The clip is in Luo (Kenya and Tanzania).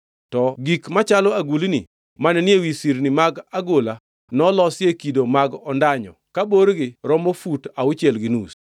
To gik machalo agulni mane ni ewi sirni mag agola nolosi e kido mag ondanyo ka borgi romo fut auchiel gi nus.